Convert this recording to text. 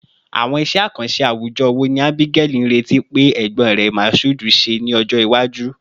Awọn iṣẹ akanṣe awujọ wo ni Abigaili nireti pe egbon rẹ Mashood, ṣe ni ọjọ iwaju?